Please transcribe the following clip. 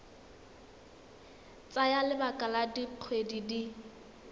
tsaya lebaka la dikgwedi di